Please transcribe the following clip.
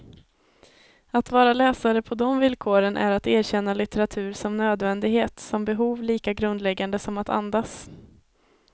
Att vara läsare på de villkoren är att erkänna litteratur som nödvändighet, som behov lika grundläggande som att andas.